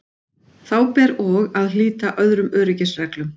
Þá ber og að hlíta öðrum öryggisreglum.